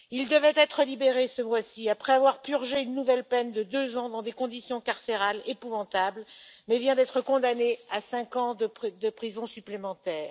Il devait être libéré ce mois ci après avoir purgé une nouvelle peine de 2 ans dans des conditions carcérales épouvantables, mais vient d'être condamné à 5 ans de prison supplémentaires.